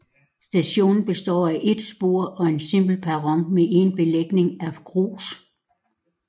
Stationen består af et spor og en simpel perron med en belægning af grus